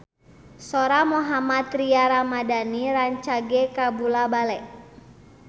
Sora Mohammad Tria Ramadhani rancage kabula-bale